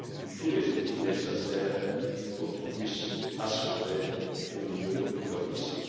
tous les outils nécessaires pour qu'ils puissent s'acquitter au mieux de leur mission.